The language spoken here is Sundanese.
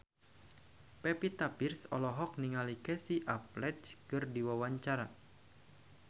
Pevita Pearce olohok ningali Casey Affleck keur diwawancara